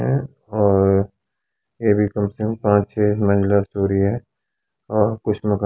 और ये भी कम से कम पाँच छः मजिल स्टोरी है और कुछ लोग --